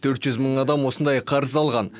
төрт жүз мың адам осындай қарыз алған